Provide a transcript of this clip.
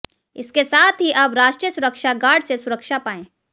इसके साथ ही अब राष्ट्रीय सुरक्षा गार्ड से सुरक्षा पाए